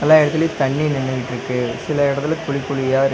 எல்லா இடத்துலியு தண்ணீ நின்னுட்ருக்கு சில எடத்துல குழி குழியா இருக்--